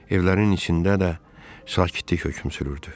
Evlərin içində də sakitlik hökm sürürdü.